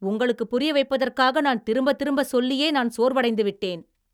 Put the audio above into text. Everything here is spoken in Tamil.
உங்களுக்குப் புரிய வைப்பதற்காக நான் திரும்பத் திரும்ப சொல்லியே நான் சோர்வடைந்து விட்டேன்.